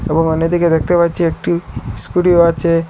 এবং অন্যদিকে দেখতে পাচ্ছি একটি স্কুটিও আছে।